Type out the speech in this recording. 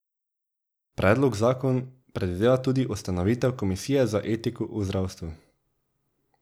Predlog zakon predvideva tudi ustanovitev komisije za etiko v zdravstvu.